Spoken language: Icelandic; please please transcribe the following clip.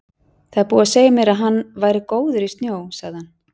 Það var búið að segja mér að hann væri góður í snjó, sagði hann.